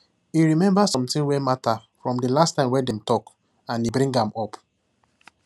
he remember something wey matter from the last time wey dem talk and he bring am up